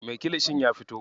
Me kilishin ya fito?